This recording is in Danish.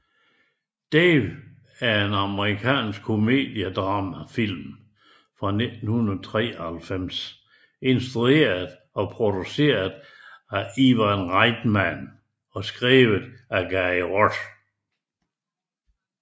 Dave er en amerikansk komediedramafilm fra 1993 instrueret og produceret af Ivan Reitman og skrevet af Gary Ross